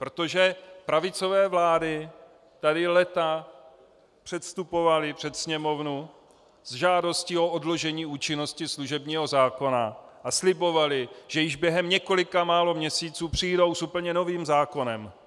Protože pravicové vlády tady léta předstupovaly před sněmovnu s žádostí o odložení účinnosti služebního zákona a slibovaly, že již během několik málo měsíců přijdou s úplně novým zákonem.